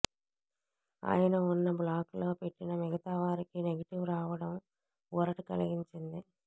ఆయన ఉన్న బ్లాకులో పెట్టిన మిగతా వారికి నెగిటివ్ రావడం ఊరట కలిగించింది